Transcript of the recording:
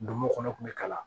Donmo kɔnɔ kun bɛ kalan